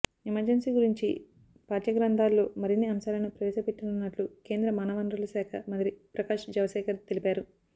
emergency గురించి పాఠ్యగ్రంథాల్లో మరిన్ని అంశాలను ప్రవేశపెట్టనున్నట్లు కేంద్ర మానవవనరుల శాఖ మంత్రి ప్రకాశ్ జవదేకర్ తెలిపారు